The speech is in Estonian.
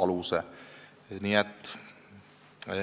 aluse panna.